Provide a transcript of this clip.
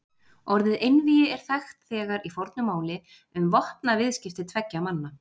Orðið einvígi er þekkt þegar í fornu máli um vopnaviðskipti tveggja manna.